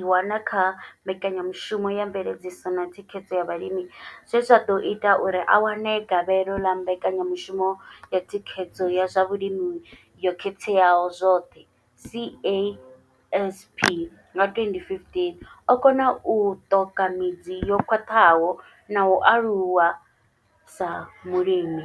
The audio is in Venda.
i wana kha mbekanyamushumo ya mveledziso na thikhedzo ya vhalimi zwe zwa ḓo ita uri a wane gavhelo ḽa mbekanyamushumo ya thikhedzo ya zwa vhulimi yo katelaho zwoṱhe CASP nga 2015, o kona u ṱoka midzi yo khwaṱhaho na u aluwa sa mulimi.